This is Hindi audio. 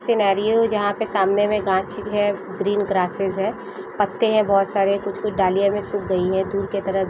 सिनेरियो जहाँ पर सामने है ग्रीन ग्रसिस है पत्ते है बहुत सारे कुछ- कुछ डालियाँ भी सुख गई है दूर की तरफ।